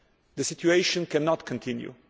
The situation cannot continue.